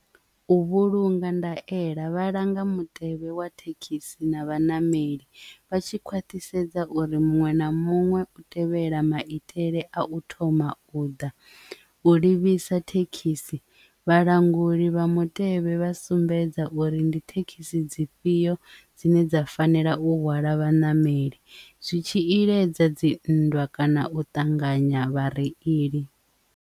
U vhulunga ndaela vhalanga mutevhe wa thekhisi na vhanameli vha tshi khwaṱhisedza uri muṅwe na muṅwe u tevhela maitele a u thoma u ḓa u livhisa thekhisi vhalanguli vha mutevhe vha sumbedza uri ndi thekhisi dzifhio dzine dza fanela u hwala vhaṋameli zwi tshi iledza dzi nndwa kana u ṱanganya vhareili.